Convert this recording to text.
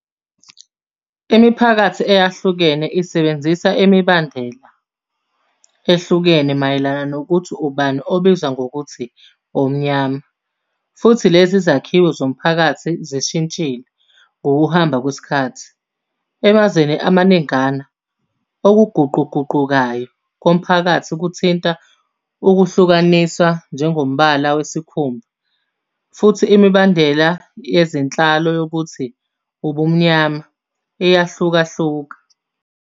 Imiphakathi eyahlukene isebenzisa imibandela ehlukene mayelana nokuthi ubani obizwa ngokuthi "omnyama", futhi lezi zakhiwo zomphakathi zishintshile ngokuhamba kwesikhathi. Emazweni amaningana, okuguquguqukayo komphakathi kuthinta ukuhlukaniswa njengombala wesikhumba, futhi imibandela yezenhlalo yokuthi "ubumnyama" iyahlukahluka.